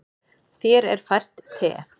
Þér er fært te.